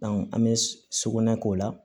an bɛ sugunɛ k'o la